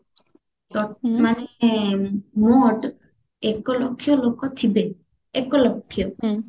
ମାନେ ମୋଟ ଏକ ଲକ୍ଷ ଲୋକ ଥିବେ ଏକ ଲକ୍ଷ